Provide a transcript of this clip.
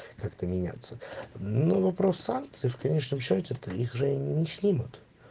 как-то меняться на вопрос санкций в конечном счёте таких же не снимут